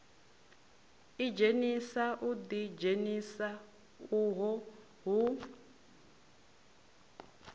idzhenisa u ḓidzhenisa uho hu